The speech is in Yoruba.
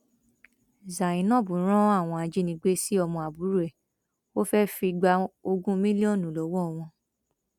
zainab ran àwọn ajínigbé sí ọmọ àbúrò ẹ ó fẹẹ fi gba ogún mílíọnù lọwọ wọn